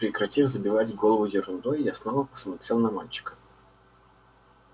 прекратив забивать голову ерундой я снова посмотрел на мальчика